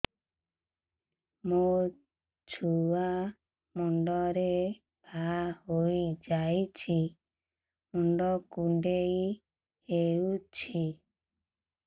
ମୋ ଛୁଆ ମୁଣ୍ଡରେ ଘାଆ ହୋଇଯାଇଛି ମୁଣ୍ଡ କୁଣ୍ଡେଇ ହେଉଛି